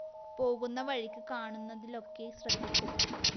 പോകുന്ന വഴിക്ക് കാണുന്നതിലൊക്കെ ശ്രദ്ധിക്കും